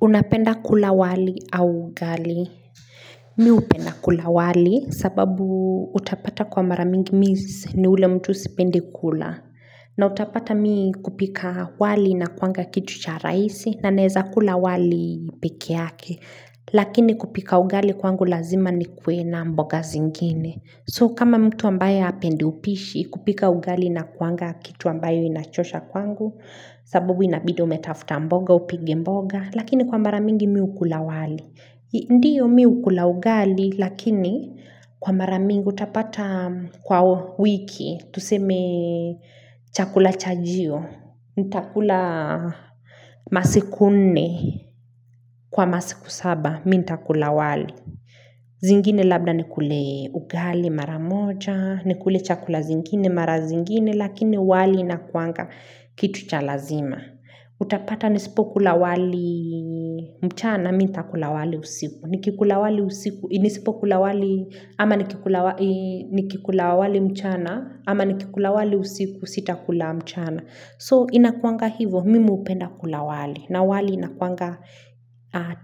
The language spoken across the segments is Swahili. Unapenda kula wali au ugali. Mi upenda kula wali sababu utapata kwa mara mingi mi si ni ule mtu sipendi kula. Na utapata mi kupika wali inakuanga kitu cha raisi na naeza kula wali peke yake. Lakini kupika ugali kwangu lazima nikue na mboga zingine. So kama mtu ambaye apendi upishi kupika ugali inakuanga kitu ambayo inachosha kwangu. Sababu inabidi umetafuta mboga upige mboga. Lakini kwa mara mingi mi ukula wali Ndiyo mi ukula ugali Lakini kwa mara mingi utapata kwa wiki tuseme chakula chajio nitakula masiku nne Kwa masiku saba Mi ntakula wali zingine labda nikule ugali mara moja nikule chakula zingine mara zingine Lakini wali inakuanga kitu cha lazima Utapata nisipokula wali mchana na mi ntakula wali usiku. Nikikula wali usiku. Nisipokula wali. Ama nikikula wali mchana. Ama nikikula wali usiku sitakula mchana. So inakuanga hivo. Mimi upenda kula wali. Na wali inakuanga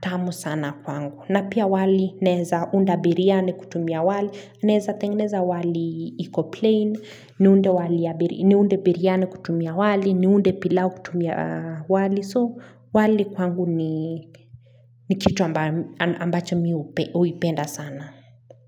tamu sana kwangu. Na pia wali naeza unda biriani kutumia wali. Naeza tengeneza wali iko plain Niunde biriani kutumia wali. Niunde pilau kutumia wali. So wali kwangu ni kitu ambacho mi uipenda sana.